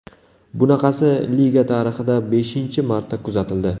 Bunaqasi liga tarixida beshinchi marta kuzatildi.